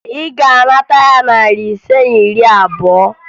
Ị ga-anata ya narị ise na iri abụọ!